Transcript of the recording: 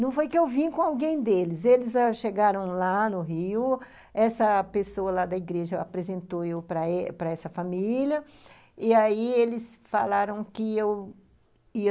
Não foi que eu vim com alguém deles, eles ãh chegaram lá no Rio, essa pessoa lá da igreja apresentou eu para para essa família, e aí eles falaram que eu ia